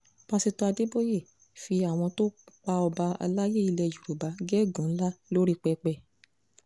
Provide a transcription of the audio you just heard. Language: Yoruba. pásítọ̀ adéboye fi àwọn tó pa ọba àlàyé ilẹ̀ yorùbá gégùn-ún ńlá lórí pẹpẹ